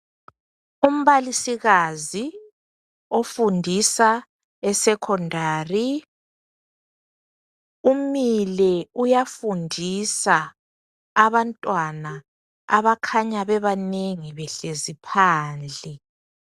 Umbalisikazi ofundisa esecondary umile uyafundisa abantwana abakhanya bebanengi behlezi phandle.